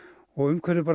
og umhverfið